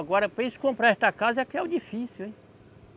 Agora, para eles comprarem esta casa, é que é o difícil, hein?